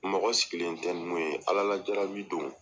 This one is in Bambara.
Mɔgɔ sigilen tɛ ni mun ye alalajarabi don.